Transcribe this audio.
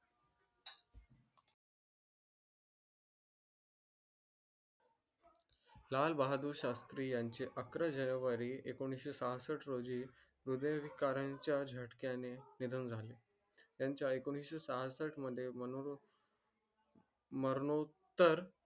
लाल बहादुर शास्त्री यांचे अकरा जानेवारी एकोणीस छप्पष्ट रोजी ह्रदयविकाराच्या झटक्या ने निधन झाले. त्यांच्या एकोणीस छप्पष्ट मध्ये मनोर. मरणोत्तर